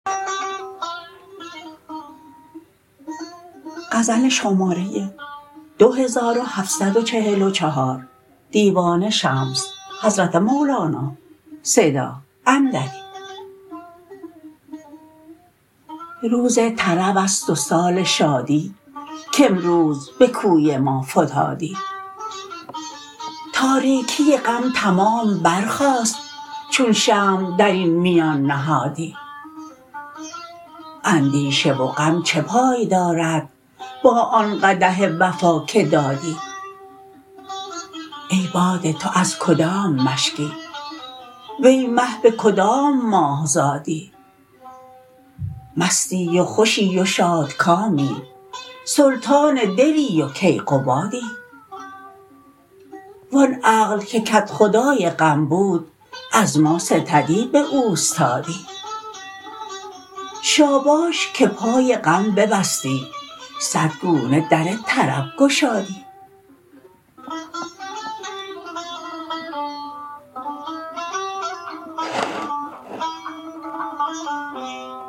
روز طرب است و سال شادی کامروز به کوی ما فتادی تاریکی غم تمام برخاست چون شمع در این میان نهادی اندیشه و غم چه پای دارد با آن قدح وفا که دادی ای باده تو از کدام مشکی وی مه به کدام ماه زادی مستی و خوشی و شادکامی سلطان دلی و کیقبادی و آن عقل که کدخدای غم بود از ما ستدی به اوستادی شاباش که پای غم ببستی صد گونه در طرب گشادی